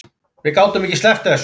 Gátum ekki sleppt þessu